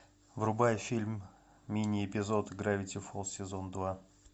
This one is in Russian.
врубай фильм мини эпизод гравити фолз сезон два